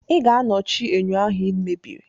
Ị ga-anọchi enyo ahụ e mebiri!